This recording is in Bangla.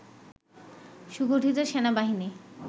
সুগঠিত সেনাবাহিনী